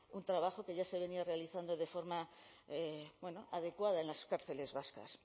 un trabajo que ya se venía realizando de forma adecuada en las cárceles vascas